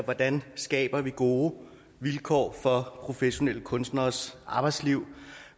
hvordan vi skaber gode vilkår for professionelle kunstneres arbejdsliv